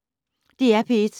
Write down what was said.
DR P1